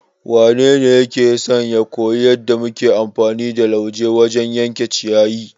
Wanene yake son ya koyi yadda muke amfani da lauje wajen yanke ciyayi?